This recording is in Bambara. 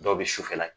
Dɔw bɛ sufɛla la